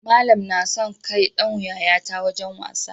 Malan nason kai Dan yayata wajan wasa